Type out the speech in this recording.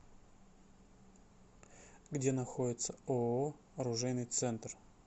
где находится ооо оружейный центр